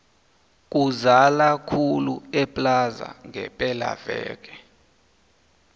kuzala khulu eplaza ngepela veke